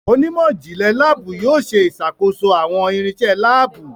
Onímò jinle laabu yóò ṣe ìṣàkóso àwọn irinṣẹ́ laabu.